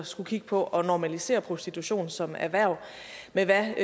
skulle kigge på at normalisere prostitution som erhverv med hvad